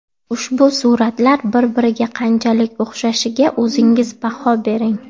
Ushbu suratlar bir-biriga qanchalik o‘xshashiga o‘zingiz baho bering.